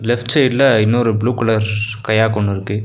Left சைட்ல இன்னொரு blue colour ஸ் கயாக் ஒன்னுருக்கு.